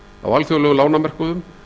á alþjóðlegum lánamörkuðum